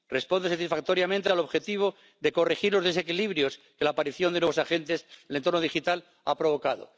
Responde satisfactoriamente al objetivo de corregir los desequilibrios de la aparición de nuevos agentes que el entorno digital ha provocado.